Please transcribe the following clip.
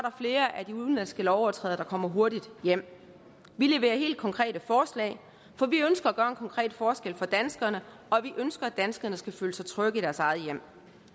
flere af de udenlandske lovovertrædere der kommer hurtigt hjem vi levere helt konkrete forslag for vi ønsker at konkret forskel for danskerne og vi ønsker at danskerne skal føle sig trygge i deres eget hjem